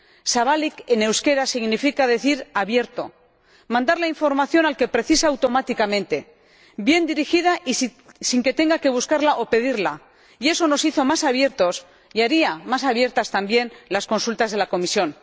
Zabalik en euskera significa abierto, mandar la información al que lo precisa automáticamente, bien dirigida y sin que tenga que buscarla o pedirla, y eso nos hizo más abiertos y haría más abiertas también las consultas de la Comisión.